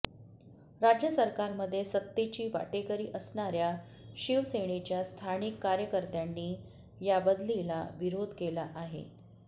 राज्य सरकारमध्ये सत्तेची वाटेकरी असणाऱ्या शिवसेनेच्या स्थानिक कार्यकर्त्यांनी या बदलीला विरोध केला आहे